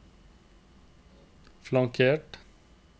flankert